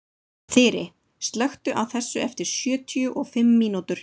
Þyri, slökktu á þessu eftir sjötíu og fimm mínútur.